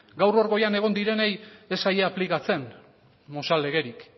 gaur hor goian egon direnei ez zaie aplikatzen mozal legerik